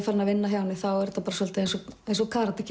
farin að vinna hjá henni er þetta svolítið eins og eins og karate